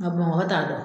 Nka bamakɔ t'a dɔn